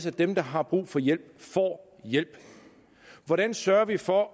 at dem der har brug for hjælp får hjælp hvordan sørger vi for